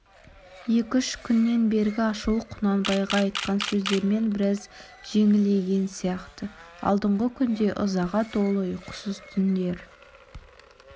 екі-үш күннен бергі ашуы құнанбайға айтқан сөздермен біраз жеңілейген сияқты алдынғы күнде ызаға толы ұйқысыз түндер